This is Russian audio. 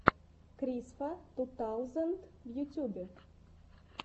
крисфа ту таузенд в ютюбе